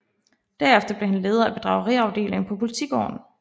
Derefter blev han leder af bedrageriafdelingen på Politigården